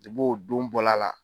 o don bɔla la.